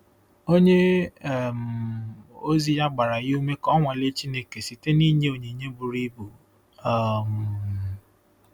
Onye um ozi ya gbara ya ume ka o nwalee Chineke site n’inye onyinye buru ibu. um